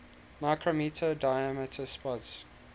micrometre diameter spots